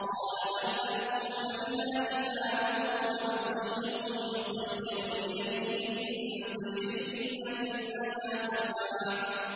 قَالَ بَلْ أَلْقُوا ۖ فَإِذَا حِبَالُهُمْ وَعِصِيُّهُمْ يُخَيَّلُ إِلَيْهِ مِن سِحْرِهِمْ أَنَّهَا تَسْعَىٰ